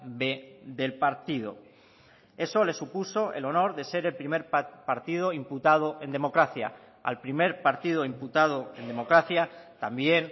b del partido eso le supuso el honor de ser el primer partido imputado en democracia al primer partido imputado en democracia también